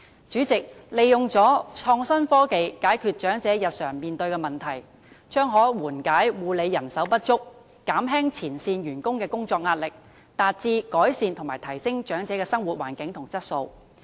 主席，利用創新科技解決長者日常面對的問題，可緩解護理人手不足的問題，減輕前線員工的工作壓力，達致改善和提升長者的生活環境和質素。